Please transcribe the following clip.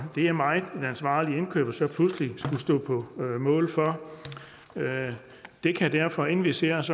det er meget en ansvarlig indkøber så pludselig skal stå på mål for det kan derfor inden vi ser os